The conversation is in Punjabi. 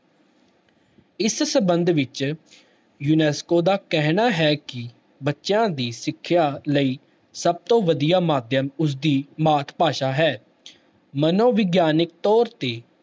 ਇਸ ਸੰਬੰਧ ਵਿੱਚ ਯੂਨੈਸਕੋ ਦਾ ਕਹਿਣਾ ਹੈ ਕਿ ਬੱਚਿਆਂ ਦੀ ਸਿੱਖਿਆ ਲਈ ਸਭ ਤੋਂ ਵਧੀਆ ਮਾਧਿਅਮ ਉਸਦੀ ਮਾਤ ਭਾਸ਼ਾ ਹੈ ਮਨੋਵਿਗਿਆਨਕ ਤੌਰ ਤੇ